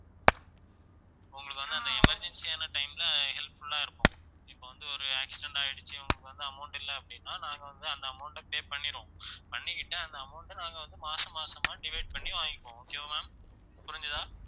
உங்களுக்கு வந்து அந்த emergency ஆன time ல helpful ஆ இருக்கும் இப்ப வந்து ஒரு accident ஆயிடுச்சு உங்களுக்கு வந்து amount இல்லை அப்படின்னா நாங்க வந்து அந்த amount அ pay பண்ணிருவோம் பண்ணிக்கிட்டு அந்த amount அ நாங்க வந்து மாசம் மாசமா divide பண்ணி வாங்கிக்குவோம் okay வா ma'am புரிஞ்சுதா